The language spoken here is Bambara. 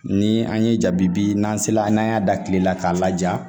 Ni an ye jabibi, n'an sera n'an y'a da kile la k'a laja.